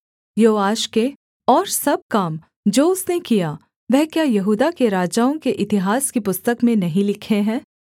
योआश के और सब काम जो उसने किया वह क्या यहूदा के राजाओं के इतिहास की पुस्तक में नहीं लिखे हैं